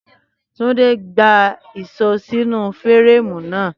Túndé gbá ìṣó sínú fẹ́rẹ́ẹ̀mù náà